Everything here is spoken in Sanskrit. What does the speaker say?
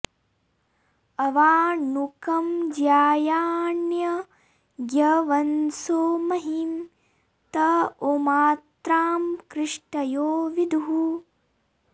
अवा नु कं ज्यायान्यज्ञवनसो महीं त ओमात्रां कृष्टयो विदुः